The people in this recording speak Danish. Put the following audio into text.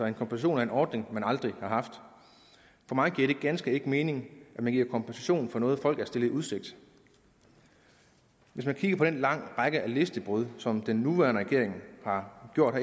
en kompensation af en ordning man aldrig har haft for mig giver det ganske enkelt ikke mening at man giver kompensation for noget folk er stillet i udsigt hvis man kigger på den lange række af løftebrud som den nuværende regering har gjort